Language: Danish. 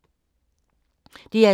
DR2